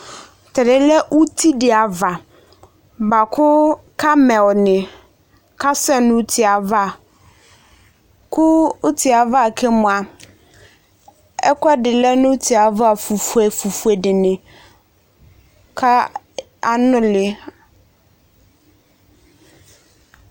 T'ɛdi yɛ lɛ uti di ava bua kʋ Camel ni kasɛ n'uti yɛ ava, kʋ uti yɛ ava ke mʋa, ɛkʋɛdi lɛ n'uti yɛ ava fue, fue dini ka anʋli